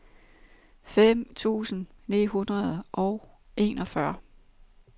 fem tusind ni hundrede og enogfyrre